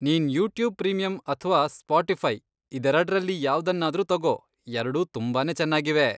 ನೀನ್ YouTube premium ಅಥ್ವಾ Spotify ಇದೆರಡ್ರಲ್ಲಿ ಯಾವ್ದನ್ನಾದ್ರೂ ತಗೋ, ಎರ್ಡೂ ತುಂಬಾನೇ ಚೆನ್ನಾಗಿವೆ.